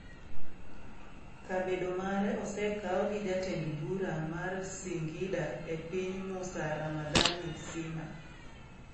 Kabedo mare osekaw gi Jatend bura mar singida e piny Mussa Ramadhani Sima.